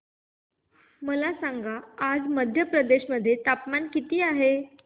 मला सांगा आज मध्य प्रदेश मध्ये तापमान किती आहे